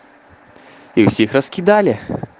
их всех раскидали